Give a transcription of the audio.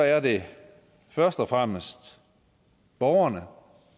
er det først og fremmest borgerne